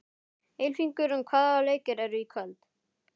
Ylfingur, hvaða leikir eru í kvöld?